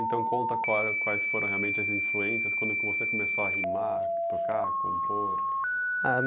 Então conta qual quais foram realmente as influências quando que você começou a rimar, a tocar, a compor? Ah